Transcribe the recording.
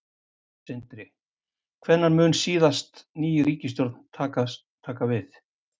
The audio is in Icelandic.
Sindri: Hvenær mun síðan ný ríkisstjórn taka við?